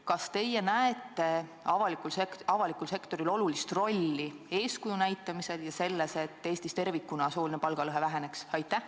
Kas teie näete avalikul sektoril olulist rolli eeskuju näitamisel, et Eestis tervikuna sooline palgalõhe väheneks?